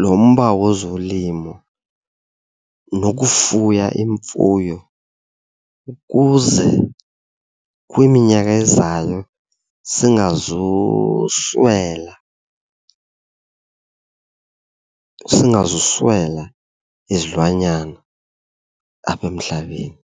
lo mba wozolimo nokufuya imfuyo ukuze kwiminyaka ezayo singazuswela, singazuswela izilwanyana apha emhlabeni.